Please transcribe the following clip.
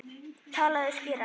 Talaðu skýrar.